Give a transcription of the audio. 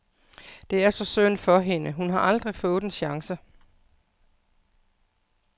Det er så synd for hende, hun har aldrig fået en chance.